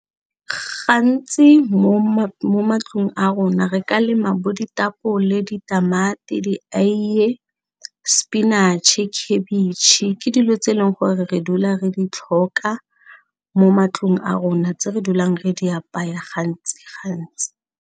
Gantsi mo matlong a rona re ka lema bo ditapole, ditamati, dieie, spinach-e, khabitšhe, ke dilo tse e leng gore re dula re di tlhoka mo matlong a rona tse re dulang re di apaya gantsi gantsi.